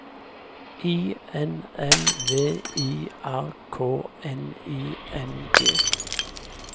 I N N V I R K N I N G